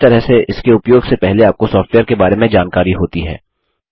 इस तरह से इसके उपयोग से पहले आपको सॉफ्टवेयर के बारे में जानकारी होती है